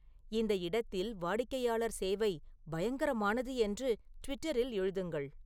இந்த இடத்தில் வாடிக்கையாளர் சேவை பயங்கரமானது என்று ட்விட்டரில் எழுதுங்கள்